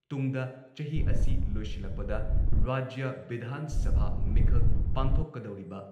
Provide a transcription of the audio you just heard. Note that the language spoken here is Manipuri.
ꯇꯨꯡꯗ, ꯆꯍꯤ ꯑꯁꯤ ꯂꯣꯏꯁꯤꯜꯂꯛꯄꯗ ꯔꯥꯖ꯭ꯌ ꯚꯤꯙꯥꯟ ꯁꯚꯥ ꯃꯤꯈꯜ ꯄꯥꯡꯊꯣꯛꯀꯗꯧꯔꯤꯕ